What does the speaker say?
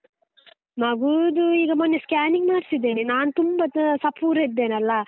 ಮಗೂದು ಈಗ ಮೊನ್ನೆ scanning ಮಾಡಿಸಿದ್ದೇನೆ ನಾನು ತುಂಬಾ ಸಪೂರ ಇದ್ದೇನಲ್ಲ?